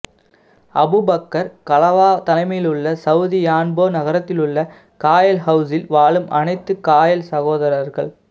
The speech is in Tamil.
அபூபக்கர் கலவா தலைமையுள்ள சௌதி யான்போ நகரத்திலுள்ள காயல் ஹௌசில் வாழும் அணைத்து காயல் சகோதரர்கள்